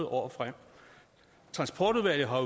år frem transportudvalget har